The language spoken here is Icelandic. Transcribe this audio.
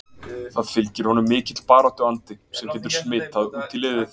Það fylgir honum mikill baráttu andi sem getur smitað út í liðið?